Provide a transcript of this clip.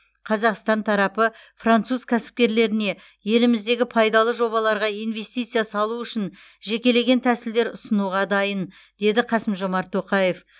қазақстан тарапы француз кәсіпкерлеріне еліміздегі пайдалы жобаларға инвестиция салу үшін жекелеген тәсілдер ұсынуға дайын деді қасым жомарт тоқаев